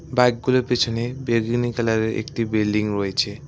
বাইকগুলো পেছনে বেদুনী কালারের একটি বিল্ডিং রয়েছে।